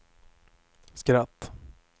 skratt